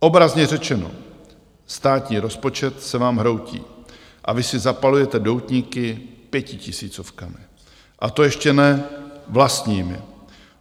Obrazně řečeno, státní rozpočet se vám hroutí, a vy si zapalujete doutníky pětitisícovkami, a to ještě ne vlastními.